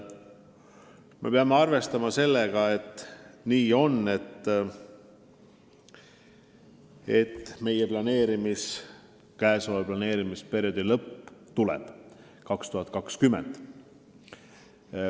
Me peame arvestama sellega, et käesoleva planeerimisperioodi lõpp tuleb aastal 2020.